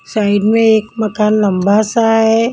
Side में एक मकान लंबा सा है।